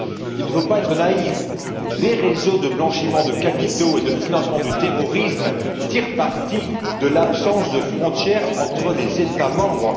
Il ne faut pas être naïf, les réseaux de blanchiment de capitaux et de financement du terrorisme tirent parti de l'absence de frontières entre les États membres.